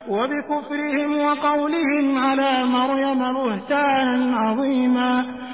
وَبِكُفْرِهِمْ وَقَوْلِهِمْ عَلَىٰ مَرْيَمَ بُهْتَانًا عَظِيمًا